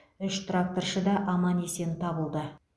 үш тракторшы да аман есен табылды